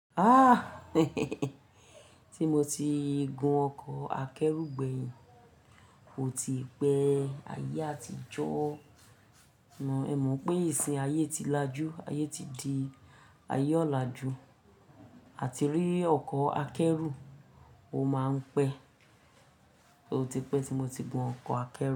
Ah, tí mo ti gun ọkọ̀ akẹ́rù gbẹ̀yìn óò ti pẹ́ ayé àtijọ́ mọ̀. Ẹ mọ̀ pé ìsìn ayé ti lajú, ayé ti di ayé ọ̀làjú àti rí ọkọ̀ akẹ́rù ó máa ń pẹ́. Ó ti pẹ́ tí mo ti gun ọkọ̀ akẹ́rù.